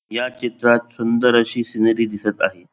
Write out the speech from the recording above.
या चित्रात सुंदर अशी सिनरी दिसत आहे.